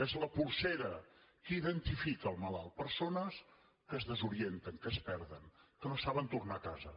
és la polsera que identifica el malalt persones que es desorienten que es perden que no saben tornar a casa